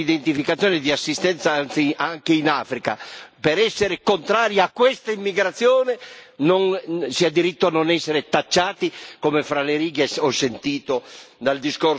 Per essere contrari a questa immigrazione si ha diritto a non essere tacciati, come fra le righe ho sentito dal discorso della signora Mogherini, di essere il minimo di razzismo.